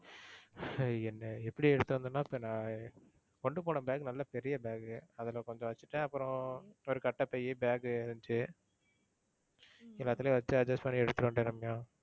எப்படி எடுத்துட்டு வந்தனா இப்போ நான் கொண்டுபோன bag நல்லா பெரிய bag அதுல கொஞ்சம் வச்சிட்டேன் அப்புறம் ஒரு கட்டப்பை bag இருந்துச்சு. எல்லாத்துலையும் வச்சி adjust பண்ணி எடுத்துட்டு வந்துட்டேன் ரம்யா.